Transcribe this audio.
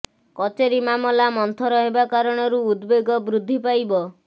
କଚେରି ମାମଲା ମନ୍ଥର ହେବା କାରଣରୁ ଉଦବେଗ ବୃଦ୍ଧି ପାଇବ